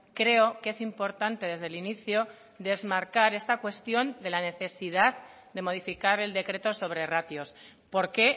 creo que es importante desde el inicio desmarcar esta cuestión de la necesidad de modificar el decreto sobre ratios porque